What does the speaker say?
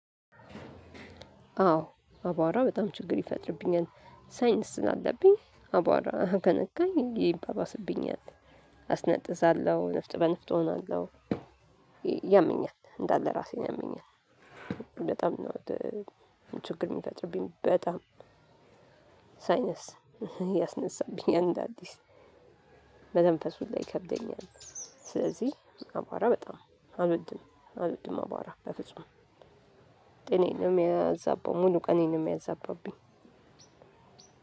አዎ አቧራ በጣም ችግር ይፈጥርብኛል። ሳይንስ ስላለብኝ አቧራ ከነካኝ ይባባስብኛል። አስነጥሳለሁ ንፍጥ በንፍጥ እሆናለሁ። ያመኛል እንዳለ ራሴን ያመኛል። በጣም ነው። ችግር የሚፈጥርብኝ በጣም ሳይነስ ያስነሳብኝ አንድ አዲስ መተንፈስ ሁላ ይከብደኛል። ስለዚህ አቧራ በጣም አልወድም አልወድም አቧራ በፍጹም ጤናዬን ነው የሚያዛበው። ሙሉ ቀኔን ነው የሚያዛባብኝ።